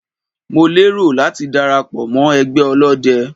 Mo lérò láti dara pọ̀ mọ́ ẹgbẹ́ ọlọ́dẹ.